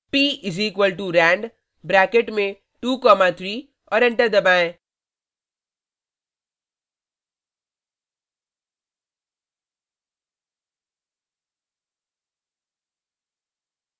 p=rand bracket में 2 3 और enter दबाएँ